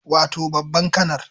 Wato babban kanar